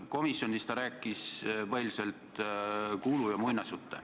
Komisjonis ta rääkis põhiliselt kuulu- ja muinasjutte.